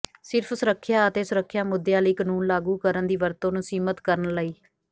ਸਿਰਫ ਸੁਰੱਖਿਆ ਅਤੇ ਸੁਰੱਖਿਆ ਮੁੱਦਿਆਂ ਲਈ ਕਾਨੂੰਨ ਲਾਗੂ ਕਰਨ ਦੀ ਵਰਤੋਂ ਨੂੰ ਸੀਮਿਤ ਕਰਨ ਲਈ